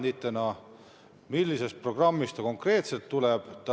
Kust see raha konkreetselt tuleb?